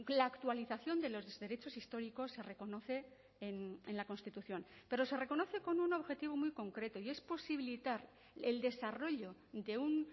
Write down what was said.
la actualización de los derechos históricos se reconoce en la constitución pero se reconoce con un objetivo muy concreto y es posibilitar el desarrollo de un